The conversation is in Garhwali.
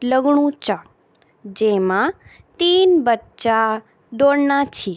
लगणु चा जेमा तीन बच्चा दौड़ना छी।